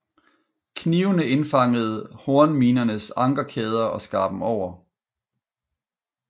Knivene indfangede hornminernes ankerkæder og skar dem over